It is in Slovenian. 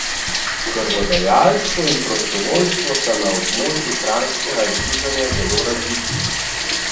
Krvodajalstvo in prostovoljstvo sta na območju kranjskega združenja zelo razviti.